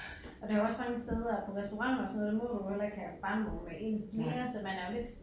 Og der jo også mange steder på restauranter og sådan noget der må du jo ikke have barnevogne med ind mere så man er jo lidt